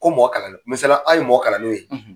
Ko mɔgɔ kalannenw, misali la, anw ye mɔgɔ kalannenw ye.